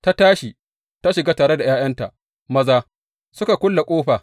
Ta tashi ta shiga tare da ’ya’yanta maza, suka kulle ƙofa.